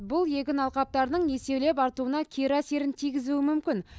бұл егін алқаптарының еселеп артуына кері әсерін тигізуі мүмкін